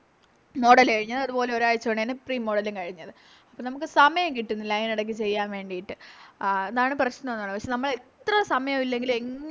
Model കഴിഞ്ഞത് അതുപോലെ ഒരാഴ്ച കൊണ്ട് തന്നെ Pre model ലും കഴിഞ്ഞത് അപ്പൊനമുക്ക് സമയം കിട്ടുന്നില്ല അയിനെടാക്ക് ചെയ്യാൻ വേണ്ടിട്ട് ആ അതാണ് പ്രശ്നോന്ന് പറയുന്നത് പക്ഷെ നമ്മളെത്ര സമായില്ലെങ്കിലും എങ്